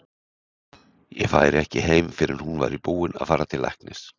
Ég færi ekki heim fyrr en hún væri búin að fara til læknis.